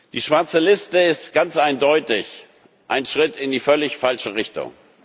haben. Die schwarze Liste ist ganz eindeutig ein Schritt in die völlig falsche